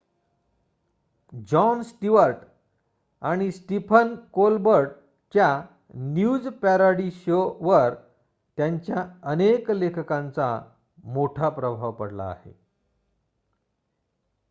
John Stewart आणि Stephen कोलबर्टच्या news parody शोवर त्यांच्या अनेक लेखकांचा मोठा प्रभाव पडला आहे